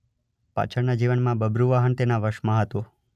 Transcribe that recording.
પાછળના જીવનમાં બબ્રુવાહન તેના વશમાં હતો.